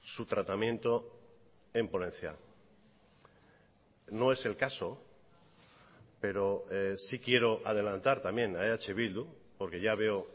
su tratamiento en ponencia no es el caso pero sí quiero adelantar también a eh bildu porque ya veo